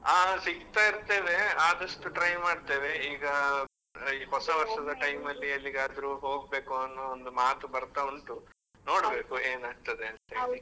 ಆ ಸಿಕ್ತಾ ಇರ್ತೇವೆ, ಆದಷ್ಟು try ಮಾಡ್ತೇವೆ ಈಗ ಈ ಹೊಸ ವರ್ಷದ time ಅಲ್ಲಿ ಎಲ್ಲಿಗಾದ್ರೂ ಹೋಗ್ಬೇಕು ಅನ್ನೋ ಒಂದು ಮಾತ್ ಬರ್ತಾ ಉಂಟು, ನೋಡ್ಬೇಕು ಏನ್ ಆಗ್ತದೆ ಅಂತ ಹೇಳಿ.